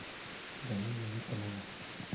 галина никонова